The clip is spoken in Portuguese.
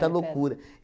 loucura.